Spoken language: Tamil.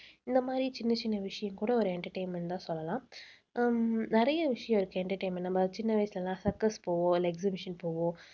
இந்த மாதிரி சின்ன சின்ன விஷயம் கூட ஒரு entertainment தான் சொல்லலாம். உம் நிறைய விஷயம் இருக்கு entertainment நம்ம சின்ன வயசுல எல்லாம் circus போவோம் இல்லை exhibition போவோம்